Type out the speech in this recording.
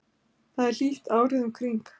Þar er hlýtt árið um kring.